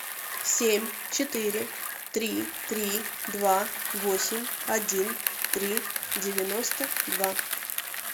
семь четыре три три два восемь один три девяносто два